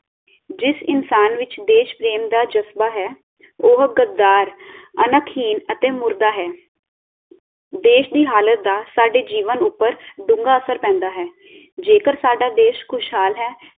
ਜਿਸ ਇਨਸਾਨ ਵਿਚ ਦੇਸ਼ ਪ੍ਰੇਮ ਦਾ ਜਜ਼ਬਾ ਹੈ ਉਹ ਗੱਦਾਰ, ਅਣਖ ਹੀਨ ਅਤੇ ਮੁਰਦਾ ਹੈ ਦੇਸ਼ ਦੀ ਹਾਲਤ ਦਾ ਸਾਡੇ ਜੀਵਨ ਉਪਰ ਢੁੰਗਾ ਅਸਰ ਪੈਂਦਾ ਹੈ ਜੇਕਰ ਸਾਡਾ ਦੇਸ਼ ਖੁਸ਼ਹਾਲ ਹੈ